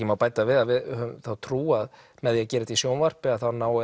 má bæta við að við höfum þá trú að með því að gera þetta í sjónvarpi náum